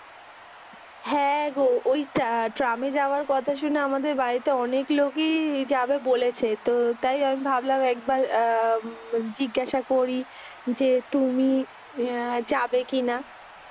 হ্যাঁগো ঐটা ট্রামে যাওয়ার কথা শুনে আমাদের বাড়িতে অনেক লোকই যাবে বলেছে। তো তাই আমি ভাবলাম একবার জিজ্ঞাসা করি যে তুমি যাবে কি না